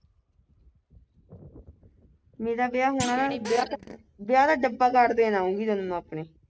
ਮੇਰਾ ਵਿਆਹ ਹੋਣਾ ਵਿਆਹ ਦਾ ਵਿਆਹ ਦਾ ਡੱਬਾ card ਦੇਣ ਆਊਗੀ ਤੈਨੂੰ ਆਪਣੇ